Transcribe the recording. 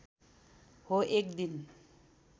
हो एक दिन